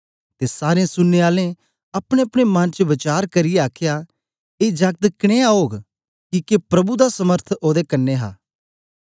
ते सारें सुनने आलें अपनेअपने मन च वचार करियै आखया ए जागत के जियां ओग किके प्रभु दा समर्थ ओदे कन्ने हा